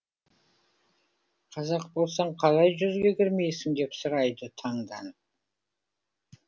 қазақ болсаң қалай жүзге кірмейсің деп сұрайды таңданып